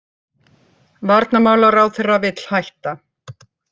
Varnarmálaráðherra vill hætta